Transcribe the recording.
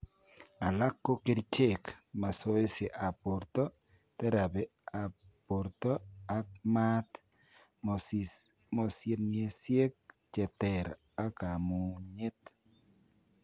Alak koo kericheek, masoesi ab borto, therapy ab borto ak maat, mosienisiek cheter ak kamunyeet